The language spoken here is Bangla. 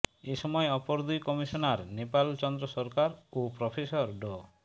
এ সময় অপর দুই কমিশনার নেপাল চন্দ্র সরকার ও প্রফেসর ড